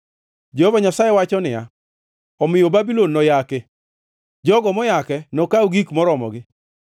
Jehova Nyasaye wacho niya, “Omiyo Babulon noyaki; jogo moyake nokaw gik moromogi.